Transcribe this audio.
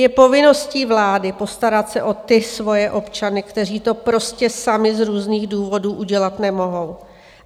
Je povinností vlády postarat se o ty svoje občany, kteří to prostě sami z různých důvodů udělat nemohou.